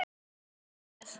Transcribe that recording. Jens, viltu hoppa með mér?